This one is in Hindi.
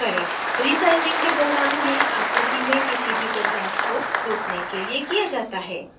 रीसाइजिंग के दौरान यह आकृति में किसी भी बदलाव को रोकने के लिए किया जाता है